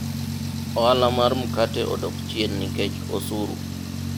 ohala mar mkate odok chien nikech osuru